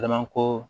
ko